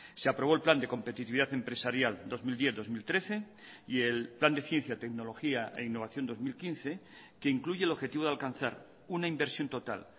se aprobó el plan de competitividad empresarial dos mil diez dos mil trece y el plan de ciencia tecnología e innovación dos mil quince que incluye el objetivo de alcanzar una inversión total